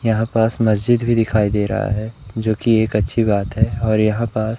यहां पास मस्जिद भी दिखाई दे रहा है जो की एक अच्छी बात है और यहां पास--